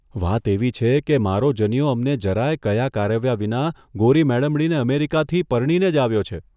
વાત એવી છેકે, મારો જનીયો અમને જરાયે કળા કારવ્યા વિના ગોરી મડમડીને અમેરિકાથી પરણીને જ આવ્યો છે.